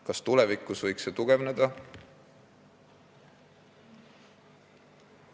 Kas see võib tulevikus tugevneda?